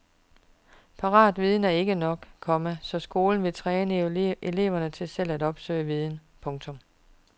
Paratviden er ikke nok, komma så skolen vil træne eleverne til selv at opsøge viden. punktum